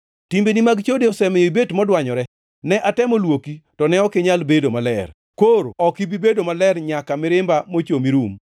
“ ‘Timbeni mag chode osemiyo ibet modwanyore. Ne atemo luoki, to ne ok inyal bedo maler, koro ok ibi bedo maler nyaka mirimba mochomi rum.